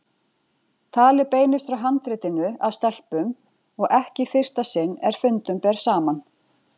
Talið beinist frá handritinu að stelpum og ekki í fyrsta sinn er fundum ber saman.